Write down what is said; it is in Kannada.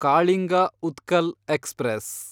ಕಾಳಿಂಗ ಉತ್ಕಲ್ ಎಕ್ಸ್‌ಪ್ರೆಸ್